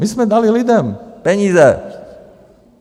My jsme dali lidem peníze.